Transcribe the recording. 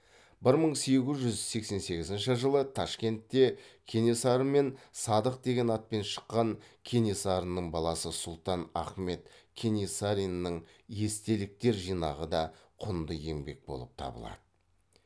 бір мың сегіз жүз сексен сегізінші жылы ташкентте кенесары мен садық деген атпен шыққан кенесарының баласы сұлтан ахмет кенесариннің естеліктер жинағы да құнды еңбек болып табылады